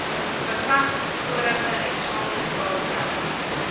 bevat vorige eksamenvraestelle